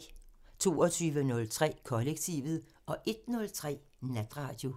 22:03: Kollektivet 01:03: Natradio